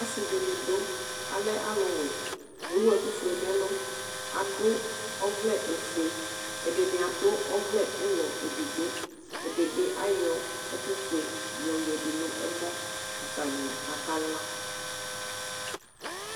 Ɔsidini dʋ alɛ alʋwɛ kʋ ewʋ ɛkʋfue nʋ ɛlʋ adʋ ɔvlɛ ofue ɛdini adʋ ɔvlɛ ʋlɔ edigbo ɛdibi ayɔ yoyadʋ nʋ ɛmɔ atani aka la